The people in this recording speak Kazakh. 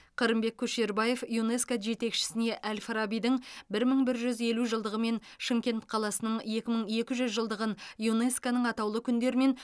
қырымбек көшербаев юнеско жетекшісіне әл фарабидің бір мың бір жүз елу жылдығы мен шымкент қаласының екі мың екі жүз жылдығын юнеско ның атаулы күндер мен